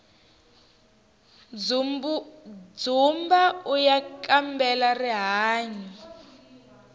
dzumbauya kambela rihanyu